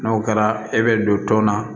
N'o kɛra e bɛ don tɔn na